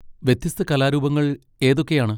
വ്യത്യസ്ത കലാരൂപങ്ങൾ ഏതൊക്കെയാണ്?